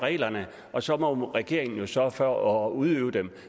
reglerne og så må regeringen jo sørge for at udøve dem